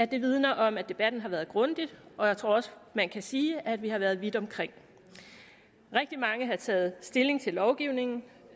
det vidner om at debatten har været grundig og jeg tror også man kan sige at vi har været vidt omkring rigtig mange har taget stilling til lovgivningen